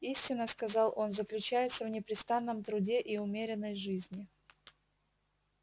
истина сказал он заключается в непрестанном труде и умеренной жизни